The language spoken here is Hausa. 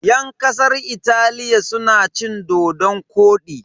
Yan kasar Italiya suna cin dodon-kwodi.